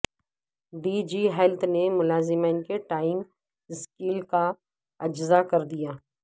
D G health نے ملازمین کے ٹائم سکیل کا اجراء کردیا